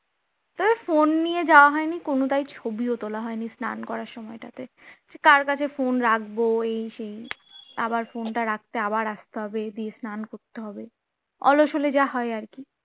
তা phone নিয়ে যাওয়া হয়নি কোনটাই ছবিও তোলা হয়নি স্নান করার সময়টাতে। কার কাছে phone রাখব এই সেই আবার phone টা রাখতে আবার আসতে হবে দিয়ে স্নান করতে হবে অলস হলে যা হয় আর কি